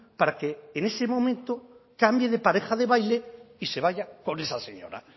para que en ese momento cambie de pareja de baile y se vaya con esa señora